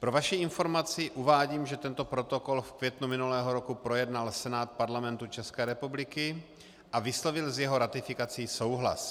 Pro vaši informaci uvádím, že tento protokol v květnu minulého roku projednal Senát Parlamentu České republiky a vyslovil s jeho ratifikací souhlas.